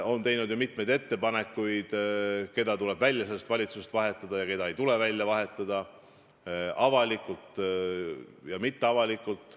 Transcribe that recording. Ta on teinud mitmeid ettepanekuid, kes tuleb selles valitsuses välja vahetada ja keda ei tule vahetada, avalikult ja mitteavalikult.